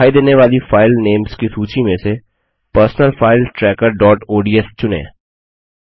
अब दिखाई देने वाली फाइल नेम्स की सूची में से personal finance tracker dot ODS चुनें